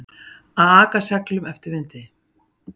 Að aka seglum eftir vindi